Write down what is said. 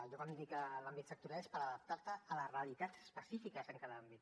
jo quan li dic àmbit sectorial és per adaptar te a les realitats específiques en cada àmbit